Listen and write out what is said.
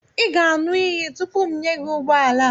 ị ga-aṅụ iyi tupu m enye gị ụgbọ ala a